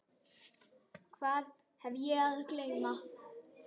Hvað hef ég að geyma?